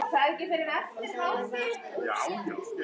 Og það er vart ofsagt.